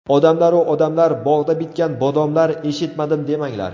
Odamlaru odamlar, bog‘da bitgan bodomlar eshitmadim demanglar!